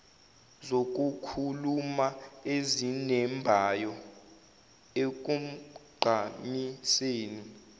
zokukhuluma ezinembayo ekugqamiseni